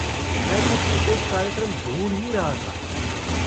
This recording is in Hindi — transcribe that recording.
मैं कुछ विशेष कार्यक्रम ढूँढ ही रहा था।